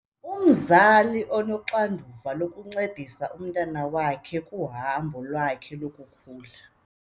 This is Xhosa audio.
Umzali unoxanduva lokuncedisa umntwana wakhe kuhambo lwakhe lokukhula.